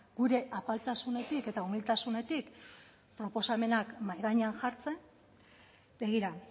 gure apaltasunetik eta umiltasunetik proposamenak mahai gainean jartzen begira